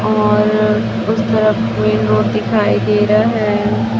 और उस तरफ मे दो दिखाई दे रहा है।